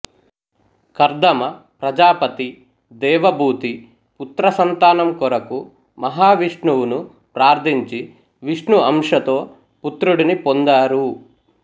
కర్ధమ ప్రజాపతి దేవభూతి పుత్రసంతానం కొరకు మహావిష్ణువును ప్రార్థించి విష్ణు అంశతో పుత్రుడిని పొందారు